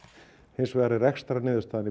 hins vegar er rekstrarniðurstaðan